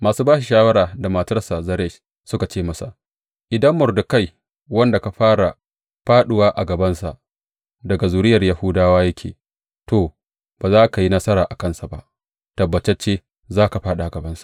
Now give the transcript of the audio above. Masu ba shi shawara, da matarsa Zeresh, suka ce masa, Idan Mordekai, wanda ka fara fāɗuwa a gabansa, daga zuriyar Yahudawa yake, to, ba za ka yi nasara a kansa ba, tabbatacce za ka fāɗi a gabansa!